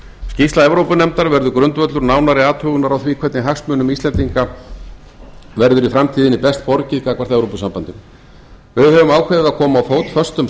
skýrsla evrópunefndar verður grundvöllur nánari athugunar á því hvernig hagsmunum íslendingar verður í framtíðinni best borgið gagnvart evrópusambandinu við höfum ákveðið að koma á fót föstum